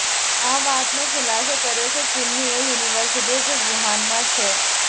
આ વાતનો ખુલાસો કર્યો છે ચીનની એ યૂનિવર્સિટીએ જે વુહાનમાં છે